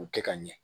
K'u kɛ ka ɲɛ